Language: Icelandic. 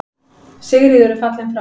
Sigríður er fallin frá.